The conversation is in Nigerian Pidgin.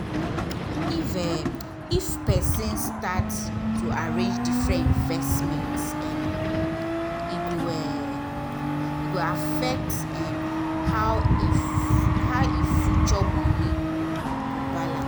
if [um]if person start to arrange different investments early e go um e go affect um how e how e future money go balance